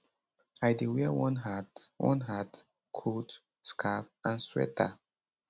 i dey wear one hat one hat coat scarf and sweater